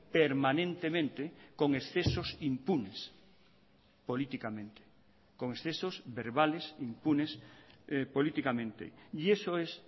permanentemente con excesos impunes políticamente con excesos verbales impunes políticamente y eso es